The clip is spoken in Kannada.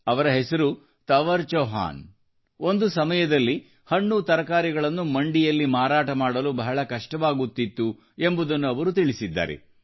ಅವರ ಹೆಸರು ಕವರ್ ಚೌಹಾನ್ ಒಂದು ಸಮಯದಲ್ಲಿ ಹಣ್ಣು ತರಕಾರಿಗಳನ್ನು ಮಂಡಿಯಲ್ಲಿ ಮಾರಾಟ ಮಾಡಲು ಬಹಳ ಕಷ್ಟವಾಗುತ್ತಿತ್ತು ಎಂಬುದನ್ನು ಅವರು ತಿಳಿಸಿದ್ದಾರೆ